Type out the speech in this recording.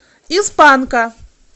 из панка